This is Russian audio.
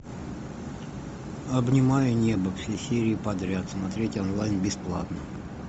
обнимаю небо все серии подряд смотреть онлайн бесплатно